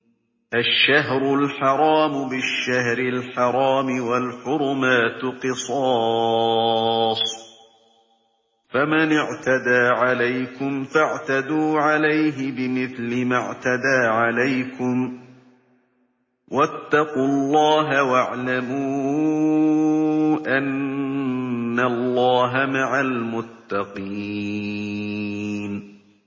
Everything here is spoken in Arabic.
الشَّهْرُ الْحَرَامُ بِالشَّهْرِ الْحَرَامِ وَالْحُرُمَاتُ قِصَاصٌ ۚ فَمَنِ اعْتَدَىٰ عَلَيْكُمْ فَاعْتَدُوا عَلَيْهِ بِمِثْلِ مَا اعْتَدَىٰ عَلَيْكُمْ ۚ وَاتَّقُوا اللَّهَ وَاعْلَمُوا أَنَّ اللَّهَ مَعَ الْمُتَّقِينَ